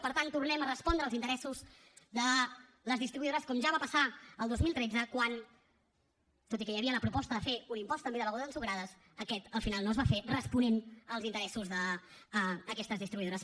per tant tornem a respondre als interessos de les distribuïdores com ja va passar el dos mil tretze quan tot i que hi havia la proposta de fer un impost també de begudes ensucrades aquest al final no es va fer responent als interessos d’aquestes distribuïdores